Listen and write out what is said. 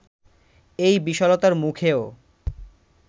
এই বিশালতার মুখেও